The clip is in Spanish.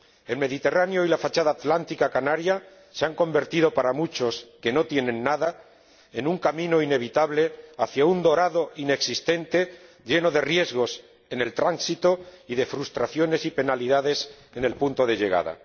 El Mediterráneo y la fachada atlántica canaria se han convertido para muchos, que no tienen nada, en un camino inevitable hacia un dorado inexistente, lleno de riesgos en el tránsito y de frustraciones y penalidades en el punto de llegada.